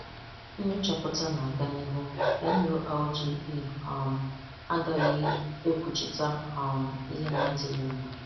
Nnyòchàpùtà na-aga n’ihu; NULGE um agaghị ekwùchìtà um ihe na-adịghị mma.